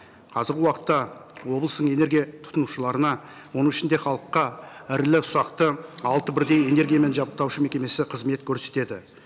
қазіргі уақытта облыстың энергия тұтынушыларына оның ішінде халыққа ірілі ұсақты алты бірдей энергиямен жабдықтаушы мекемесі қызмет көрсетеді